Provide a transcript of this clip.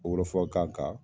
Wɔrɔfɔkan kan